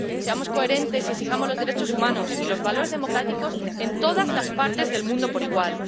Seamos coherentes y exijamos los derechos humanos y los valores democráticos en todas las partes del mundo por igual.